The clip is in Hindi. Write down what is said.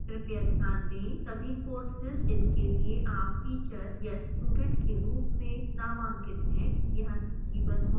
कृपया ध्यान दें सभी courses जिनके लिए आप teacher या student के रूप में नामांकित है यहाँ सूचीबद्ध होंगे